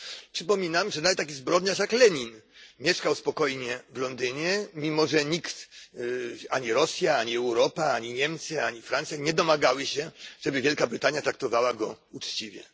Przypominam, że nawet taki zbrodniarz jak Lenin mieszkał spokojnie w Londynie, mimo że nikt ani Rosja, ani Europa, ani Niemcy, ani Francja nie domagały się, żeby Wielka Brytania traktowała go uczciwie.